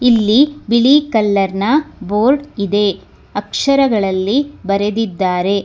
ಇಲ್ಲಿ ಬಿಳಿ ಕಲರ್ ನ ಬೋರ್ಡ್ ಇದೆ ಅಕ್ಷರಗಳಲ್ಲಿ ಬರೆದಿದ್ದಾರೆ.